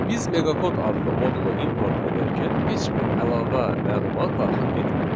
Biz meqakod adlı modulu import edərkən heç bir əlavə məlumat daxil etmədik.